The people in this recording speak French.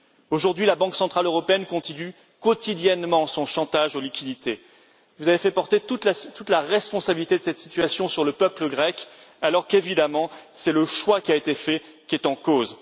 Aujourd'hui, la Banque centrale européenne continue quotidiennement son chantage aux liquidités. Vous avez fait porter toute la responsabilité de cette situation sur le peuple grec alors qu'évidemment, c'est le choix qui a été fait qui est en cause.